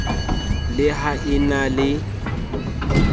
le ha e na le